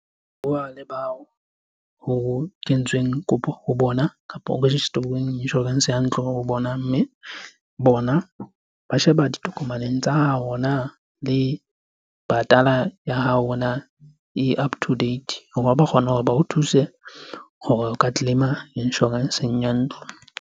Bua le bao ho kentsweng kopo ho bona kapo ho register-uweng insurance ya ntlo ho bona. Mme bona ba sheba ditokomaneng tsa hao le patala ya hao e up to date hore ba kgone hore ba o thuse hore o ka claim-a insurance-eng ya ntlo.